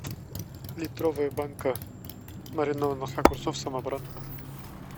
литровая банка маринованных огурцов самобранка